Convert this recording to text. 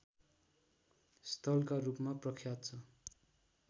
स्थलका रूपमा प्रख्यात छ